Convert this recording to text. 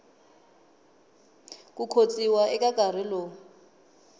ku khotsiwa eka nkarhi lowu